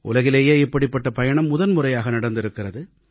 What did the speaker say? உலகிலேயே இப்படிப்பட்ட பயணம் முதன்முறையாக நடந்திருக்கிறது